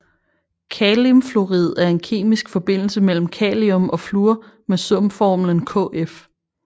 Kalimfluorid er en kemisk forbindelse mellem kalium og fluor med sumformlen KF